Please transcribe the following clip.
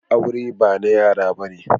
Aure ba na yara bane.